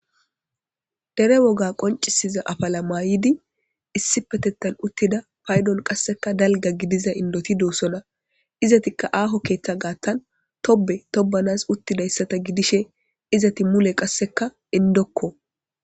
Dere woga qoncisiza afala maayidi issi petettan uttida paydon qasseka dalga gidiza indoti doossona izatikka aaho keeththa gaattan tobe tobanas uttidayssata gidishe izati mule qasseka indokko.